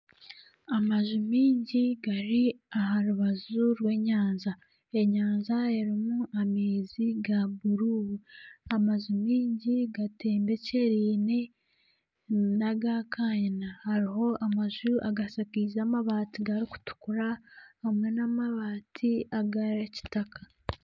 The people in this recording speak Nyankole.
Amaju mingi gari aha rubaju rw'enyanja. Enyanja erimu amaizi ga bururu. Amaju mingi gatembekyereine naga kanyina. Hariho amaju agashakiize amabaati gari kutukura hamwe n'amabaati aga kitaka.